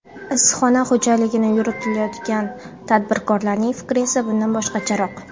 Issiqxona xo‘jaligini yuritayotgan tadbirkorlarning fikri esa bundan boshqacharoq.